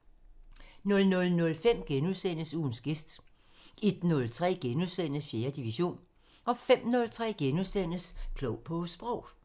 00:05: Ugens gæst * 01:03: 4. division * 05:03: Klog på Sprog *